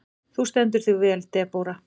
Þú stendur þig vel, Debóra!